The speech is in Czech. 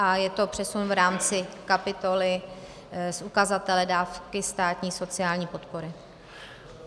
A je to přesun v rámci kapitoly z ukazatele dávky státní sociální podpory.